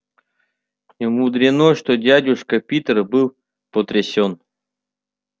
немудрено что дядюшка питер был потрясён